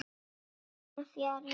Trúin fjarar út